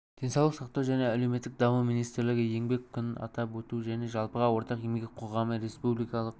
денсаулық сақтау және әлеуметтік даму министрлігі еңбек күнін атап өту және жалпыға ортақ еңбек қоғамы республикалық